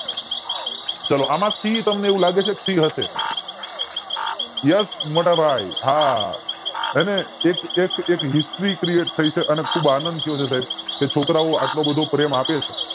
આમ થી તમને એવું લાગે છે કે હશે yes મોટા ભાઈ હા અને એક એક history create થય છે અને ખુબ આનંદ થયો છે સાઇબ કે છોકરાઓ એટલો બધો પ્રેમ આપે છે